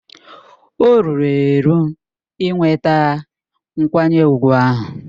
O ruru eru inweta nkwanye ùgwù ahụ.